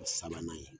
Sabanan ye